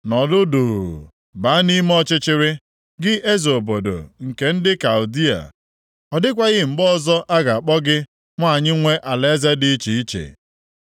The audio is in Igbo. “Nọdụ duu, baa nʼime ọchịchịrị, gị eze obodo nke ndị Kaldịa; Ọ dịkwaghị mgbe ọzọ a ga-akpọ gị nwanyị nwe alaeze dị iche iche.